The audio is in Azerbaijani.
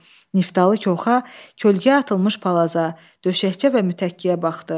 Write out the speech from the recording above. Niftalı köxa kölgəyə atılmış palaza, döşəkcə və mütəkkəyə baxdı.